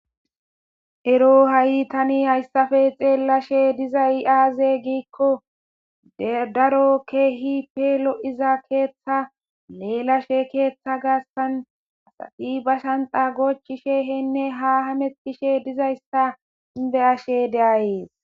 Ero ha'i tani hayssafe xeellashe diza iaaze giikko ddaro keehi peelo'iza keeththa leelashe keeththa gaastan asafi ba shanxa gochi she henne haa hametishe dizayssa be ashe deayees.